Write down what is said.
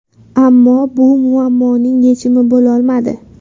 Ammo bu muammoning yechimi bo‘lolmadi.